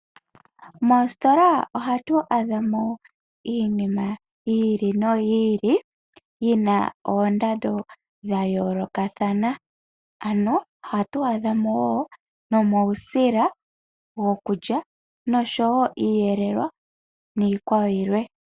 Moositola ohatu adhamo iinima yi ili noyi ili yina oondando dhayoolokathana. Ano ohatu adhamo wo nomawusila gokulya noshowo iihelelwa niikwawo yilwe.